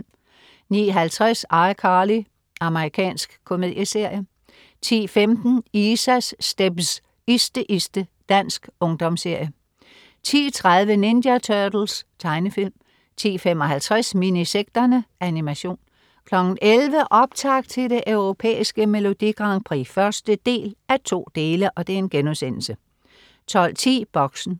09.50 ICarly. Amerikansk komedieserie 10.15 Isas stepz. Iste, iste. Dansk ungdomsserie 10.30 Ninja Turtles. Tegnefilm 10.55 Minisekterne. Animation 11.00 Optakt til det Europæiske Melodi Grand Prix 1:2* 12.10 Boxen